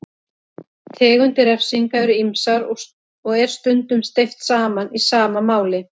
Tegundir refsinga eru ýmsar og er stundum steypt saman í sama máli.